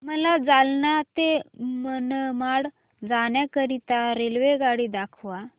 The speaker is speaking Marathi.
मला जालना ते मनमाड जाण्याकरीता रेल्वेगाडी दाखवा